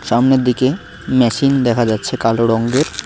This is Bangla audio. সামনের দিকে মেশিন দেখা যাচ্ছে কালো রঙ্গের।